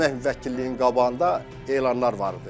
Əmək müvəkkilliyinin qabağında elanlar var idi.